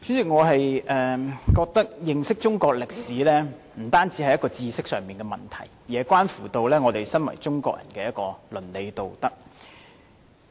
我覺得認識中國歷史，不單是知識上的問題，亦關乎我們身為中國人的倫理道德。